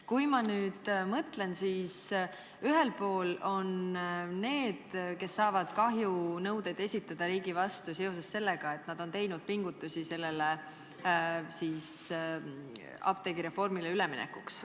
Kui ma nüüd mõtlen, siis ühel pool on need, kes saaksid kahjunõudeid riigi vastu esitada seoses sellega, et nad on teinud pingutusi, et apteegireformi tingimusi täita.